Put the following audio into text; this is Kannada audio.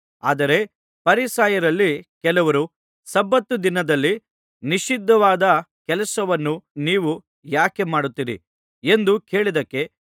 ಆದರೆ ಫರಿಸಾಯರಲ್ಲಿ ಕೆಲವರು ಸಬ್ಬತ್ ದಿನದಲ್ಲಿ ನಿಷಿದ್ಧವಾದ ಕೆಲಸವನ್ನು ನೀವು ಯಾಕೆ ಮಾಡುತ್ತೀರಿ ಎಂದು ಕೇಳಿದ್ದಕ್ಕೆ